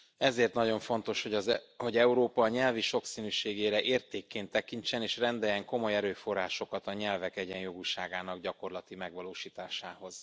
Ezért nagyon fontos, hogy Európa a nyelvi sokszínűségére értékként tekintsen, és rendeljen komoly erőforrásokat a nyelvek egyenjogúságának gyakorlati megvalósításához.